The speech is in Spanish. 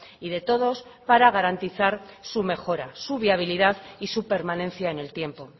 y de todos para garantizar su mejora su viabilidad y su permanencia en el tiempo